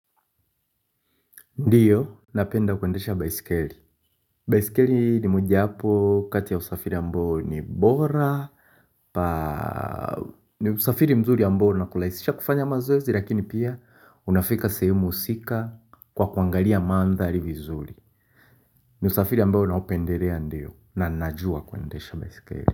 Ndiyo, napenda kuendesha baisikeli. Baisikeli ni mojapo, kati ya usafiri ambao ni bora. Usafiri mzuri ambaou nakurahisisha kufanya mazoezi, lakini pia unafika sehemu husika kwa kuangalia mandhari vizuri. Ni usafiri ambao naupendelea ndio na najua kuendesha baisikeli.